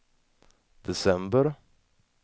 december